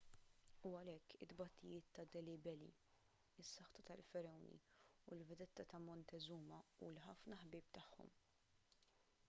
u għalhekk it-tbatijiet ta' delhi belly is-saħta tal-faragħuni il-vedetta ta' montezuma u l-ħafna ħbieb tagħhom